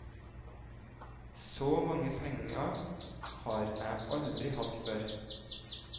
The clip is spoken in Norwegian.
Så mange penger har jeg aldri hatt før.